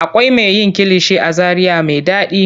Akwai me yin kilishi a zaria me ɗaɗi.